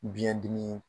Biyɛn dimi